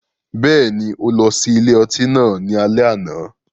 Bẹ́ẹ̀ni, o lọ si ile-ọti náà ni alẹ ana